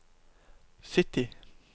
sytti